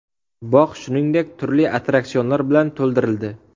Bog‘ shuningdek, turli attraksionlar bilan to‘ldirildi.